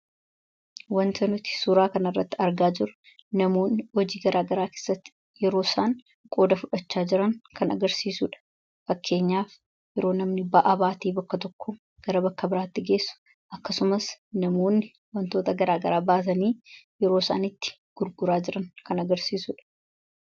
Waanti nuti suuraa kana irratti argaa jirru namoonni hojii garaa garaa keessatti yeroo isaan qooda fudhachaa jiran kan agarsiisudha. Fakkeenyaaf yeroo namni ba'aa baatee bakka tokkoo gara bakka biraatti geessu akkasumas namoonni wantota garaa garaa baasanii yeroo isaan itti gurguraa jiran kan agarsiisudha.